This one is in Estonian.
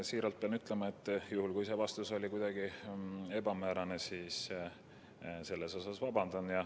Siiralt pean ütlema, et juhul kui vastus oli kuidagi ebamäärane, siis ma vabandan.